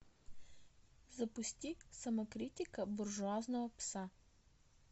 запусти самокритика буржуазного пса